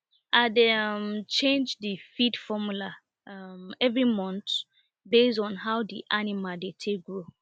i dey um change d feed formula um every month based on how the animal dey take grow